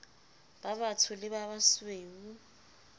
ba batsho le ba basweu